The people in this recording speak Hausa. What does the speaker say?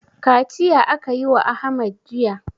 Kaciya aka yi wa Ahmad jiya.